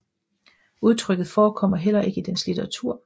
Udtrykket forekommer heller ikke i dens litteratur